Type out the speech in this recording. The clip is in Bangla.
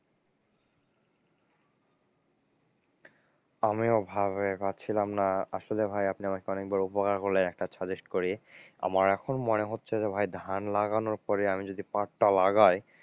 আমিও ভেবে পারছিলাম না, আসলে ভাই আপনি আমাকে অনেক বড় উপকার করলেন একটা suggest করে আমার এখন মনে হচ্ছে যে ভাই ধান লাগানোর পরেই যদি আমি পাট টা লাগাই,